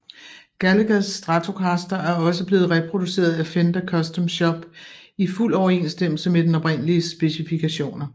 Gallaghers Stratocaster er også blevet reproduceret af Fender Custom shop i fuld overensstemmelse med den oprindeliges specifikationer